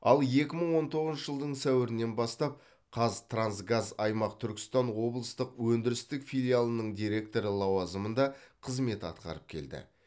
ал екі мың он тоғызыншы жылдың сәуірінен бастап қазтрансгаз аймақ түркістан облыстық өндірістік филиалының директоры лауазымында қызмет атқарып келді